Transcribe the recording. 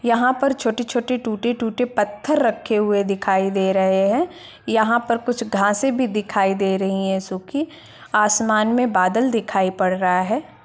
यहाँ पर छोटे-छोटे टूटे-टूटे पत्थर रखे हुए दिखाई दे रहें हैं यहाँ पर कुछ घासे भी दिखाई दे रही हैं सुखी आसमान में बादल दिखाई पड़ रहा है।